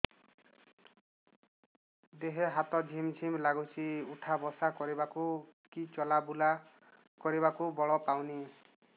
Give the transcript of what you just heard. ଦେହେ ହାତ ଝିମ୍ ଝିମ୍ ଲାଗୁଚି ଉଠା ବସା କରିବାକୁ କି ଚଲା ବୁଲା କରିବାକୁ ବଳ ପାଉନି